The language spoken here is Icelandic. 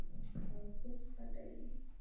Frá fyrsta degi.